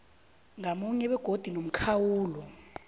ngamunye begodu nomkhawulo